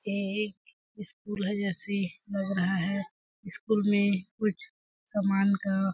ये एक स्कूल है जैसे लग रहा है स्कूल में कुछ समान का --